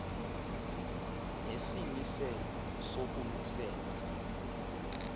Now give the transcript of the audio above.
nesimiselo soku misela